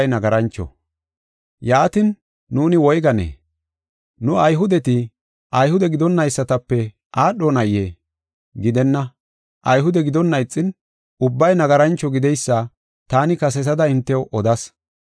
Yaatin, nuuni woyganee? Nu Ayhudeti, Ayhude gidonaysatape aadhonayee? Gidenna! Ayhude gidin, Ayhude gidonna ixin ubbay nagarancho gideysa taani kasetada hintew odas.